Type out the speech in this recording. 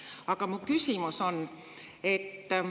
Aga mu küsimus on see.